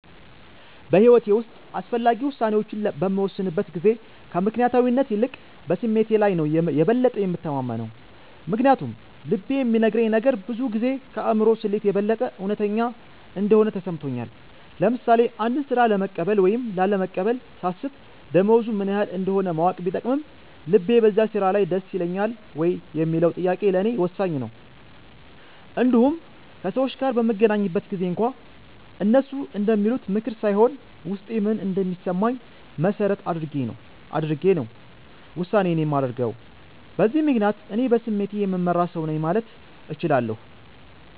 በሕይወቴ ውስጥ አስፈላጊ ውሳኔዎችን በምወስንበት ጊዜ ከምክንያታዊነት ይልቅ በስሜቴ ላይ ነው የበለጠ የምተማመነው። ምክንያቱም ልቤ የሚነግረኝ ነገር ብዙ ጊዜ ከአእምሮ ስሌት የበለጠ እውነተኛ እንደሆነ ተሰምቶኛል። ለምሳሌ አንድን ሥራ ለመቀበል ወይም ላለመቀበል ሳስብ፣ ደሞዙ ምን ያህል እንደሆነ ማወቅ ቢጠቅምም፣ ልቤ በዚያ ሥራ ደስ ይለኛል ወይ የሚለው ጥያቄ ለእኔ ወሳኝ ነው። እንዲሁም ከሰዎች ጋር በምገናኝበት ጊዜም እንኳ፣ እነሱ እንደሚሉት ምክር ሳይሆን ውስጤ ምን እንደሚሰማኝ መሠረት አድርጌ ነው ውሳኔዬን የማደርገው። በዚህ ምክንያት፣ እኔ በስሜቴ የምመራ ሰው ነኝ ማለት እችላለሁ።